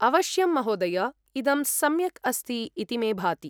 अवश्यं महोदय, इदं सम्यक् अस्ति इति मे भाति।